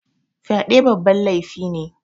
Fyaɗe babban laifi ne